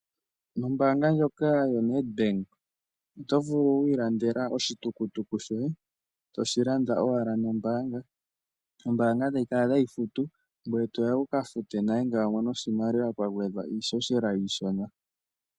Ombaanga ndjoka yoNet bank oto vulu wi ilandela oshitukutuku shoye to shi landa owala nombaanga, yo ombaanga tayi kala tayi futu ngoye toya wukafute nale ngele wamono oshimaliwa, kwa gedhwa iishoshela iishona.